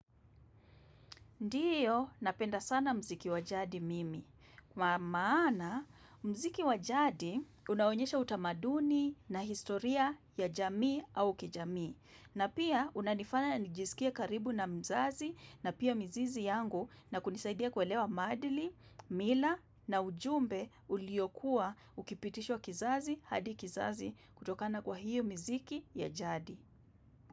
Ndiyo, napenda sana mziki wa jadi mimi. Kwa maana, mziki wa jadi unaonyesha utamaduni na historia ya jamii au kijamii. Na pia, unanifanya na nijisikie karibu na mzazi na pia mizizi yangu na kunisaidia kuelewa maadili, mila na ujumbe uliokuwa ukipitishwa kizazi hadi kizazi kutokana kwa hiyo mziki ya jadi.